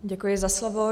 Děkuji za slovo.